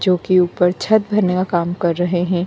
जो के ऊपर छत बना हुआ काम कर रहा है।